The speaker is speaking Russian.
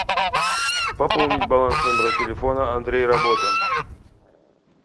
пополнить баланс номера телефона андрей работа